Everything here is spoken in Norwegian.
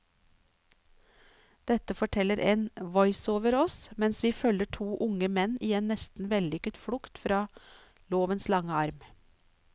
Dette forteller en voiceover oss mens vi følger to unge menn i en nesten vellykket flukt fra lovens lange arm.